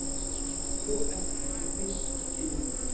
Of endanleg, viss, innilokuð.